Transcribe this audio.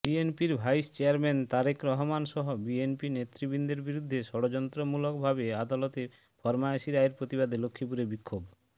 বিএনপির vice chairman Tarique রহমানসহ BNP নেতৃবৃন্দের বিরুদ্ধে ষড়যন্ত্রমূলকভাবে আদালতে ফরমায়েশি রায়ের প্রতিবাদে লক্ষ্মীপুরে বিক্ষোভ